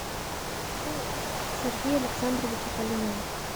сергея александровича калинина